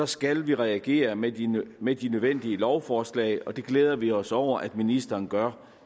skal vi reagere med de med de nødvendige lovforslag det glæder vi os over at ministeren gør